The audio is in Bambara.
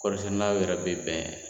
Kɔrisɛnɛnaw yɛrɛ bɛ bɛn